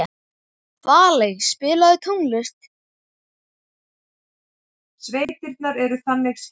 Valey, spilaðu tónlist.